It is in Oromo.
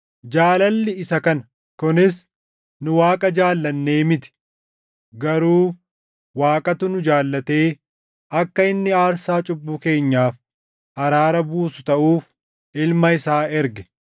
Jaalalli isa kana: Kunis nu Waaqa jaallannee miti; garuu Waaqatu nu jaallatee akka inni aarsaa cubbuu keenyaaf araara buusu taʼuuf Ilma isaa erge.